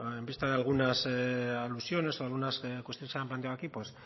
en vista de algunas alusiones o algunas cuestiones que se han planteado aquí pues